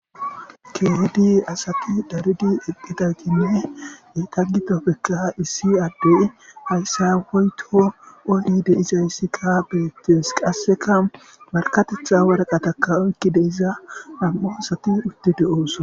Keehedi asati daridi eqdhida ginne etaggitopekka issi addey hayssaweyto oyide izayssi ka beettes qasseka markatetha waraqataka oykki deiza nam7o asati udti de7ooso.